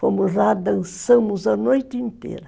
Fomos lá, dançamos a noite inteira.